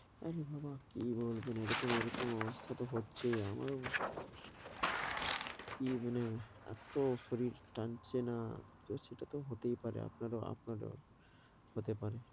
আরে বাবা কী বলবেন এরকম এরকম অবস্থা তো হচ্ছেই আমারও। কী মানে এত শরীর টানছে না, তো সেটা তো হতেই পারে আপনারও আপনারও, হতে পারে।